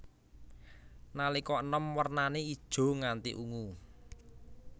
Nalika enom wernané ijo nganti ungu